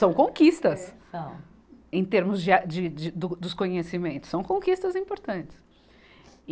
São conquistas. É, são. Em termos de a, de, de, do, dos conhecimentos, são conquistas importantes. e